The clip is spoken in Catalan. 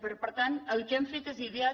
per tant el que hem fet és ideat